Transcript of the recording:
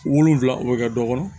Wolonfila o bɛ kɛ dɔ kɔnɔ